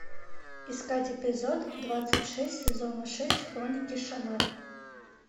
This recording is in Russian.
искать эпизод двадцать шесть сезона шесть хроники шаннары